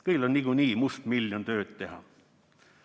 Kõigil on niikuinii mustmiljon tööd teha.